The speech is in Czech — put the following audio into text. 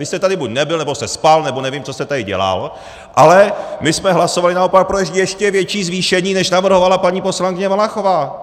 Vy jste tady buď nebyl, nebo jste spal, nebo nevím, co jste tady dělal, ale my jsme hlasovali naopak pro ještě větší zvýšení, než navrhovala paní poslankyně Valachová!